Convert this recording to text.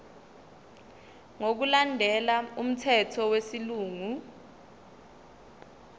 ngokulandela umthetho wesilungu